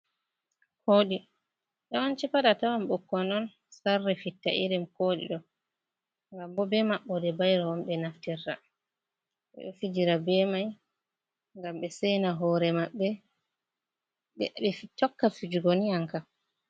Koɗi yawanci pay tawa ɓikkoi on sarri fitta irin Koɗi ɗo gam bo be maɓɓo de bairow on ɓe naftirta ɓe ɗo fijira be mai gam be sena hore maɓɓe, ɓe tokka fijugo ni a kam. ka